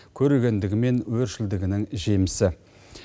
көрегендігі мен өршілдігінің жемісі